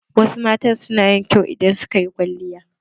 Wasu mata suna yin kyau idan suka yi kwalliya.